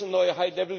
Und jetzt eine neue